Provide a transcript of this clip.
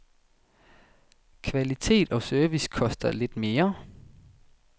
Kvalitet og service koster lidt mere.